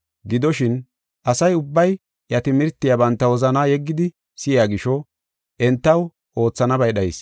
Gidoshin, asa ubbay iya timirtiya banta wozana yeggidi si7iya gisho, entaw oothanabay dhayis.